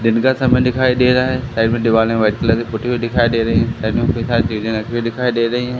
दिन का समय दिखाई दे रहा है साइड में दीवाल वाइट कलर की पुती दिखाई दे रही है दिखाई दे रही हैं।